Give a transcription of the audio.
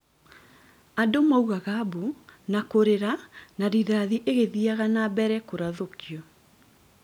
Andũ maugaga mbu na kũrĩra na rithathi igĩthiaga na mbere kũrathũkio